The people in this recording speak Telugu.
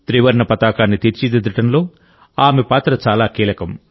త్రివర్ణ పతాకాన్ని తీర్చిదిద్దడంలో ఆమె పాత్ర చాలా కీలకం